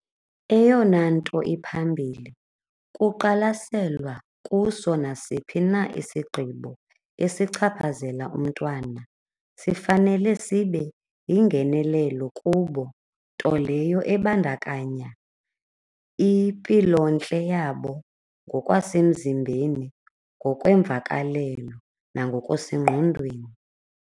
Eyona nto iphambili kuqalaselwa kuso nasiphi na isigqibo esichaphazela umntwana. Sifanele sibe yingenelelo kubo, nto leyo ebandakanya impilontle yabo ngokwasemzimbeni, ngokweemvakalelo nangokusengqondweni.